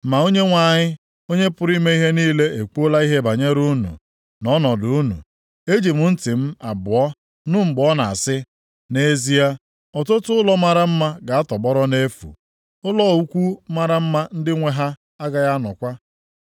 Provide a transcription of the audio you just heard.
Ma Onyenwe anyị, Onye pụrụ ime ihe niile ekwuola ihe banyere unu, na ọnọdụ unu. Eji m ntị m abụọ nụ mgbe ọ na-asị, “Nʼezie, ọtụtụ ụlọ mara mma ga-atọgbọrọ nʼefu, ụlọ ukwu mara mma ndị nwe ha agaghị anọkwa.